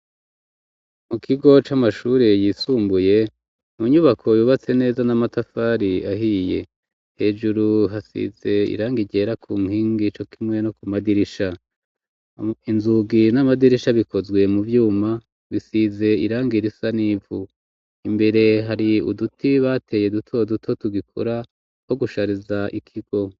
Mu kigo c'amashuri yisumbuye mu nyubako yubatse neza n'amatafari ahiye hejuru hasize irang igera ku nkingi ico kimwe no ku madirisha inzugi n'amadirisha bikozwe mu vyuma bisize irangi irisa n'ivu imbere hari uduti bateye duto duto tugikora ko gushariza ikigo.